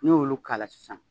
N'i y'olu k'a la sisan